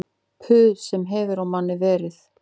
Puð sem hefur á manni verið